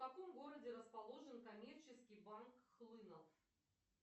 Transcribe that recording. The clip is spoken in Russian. в каком городе расположен коммерческий банк хлынов